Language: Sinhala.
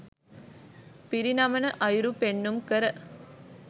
පිරිනමන අයුරු පෙන්නුම් කර